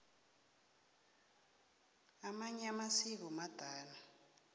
amanye amasiko madala